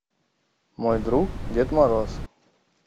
мой друг дед мороз